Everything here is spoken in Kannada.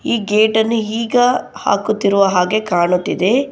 ಈ ಗೇಟನ್ನು ಈಗ ಹಾಕುತ್ತಿರುವ ಹಾಗೆ ಕಾಣುತ್ತಿದೆ.